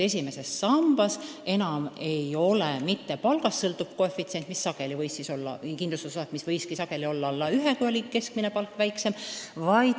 Esimeses sambas enam ei ole mitte palgast sõltuv kindlustusosak, mis sageli võibki olla alla 1, kui oli keskmine palk väiksem.